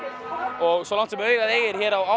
og svo langt sem augað eygir hér á